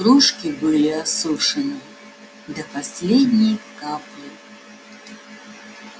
кружки были осушены до последней капли